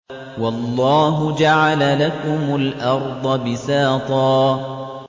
وَاللَّهُ جَعَلَ لَكُمُ الْأَرْضَ بِسَاطًا